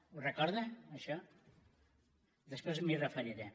ho recorda això després m’hi referiré